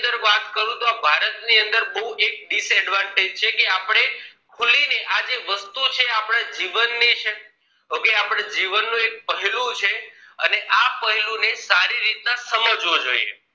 ની વાત કરું તોહ ભારત ની અંદર એક આ બઉં disadvantage છે કે આપણે ખુલી ને આજે વસ્તુ છે આપણા જીવન ની છે જીવન નો એક પેહલું છે અને આ પેહલું ને સારી રીતે સમજવો જોઈએ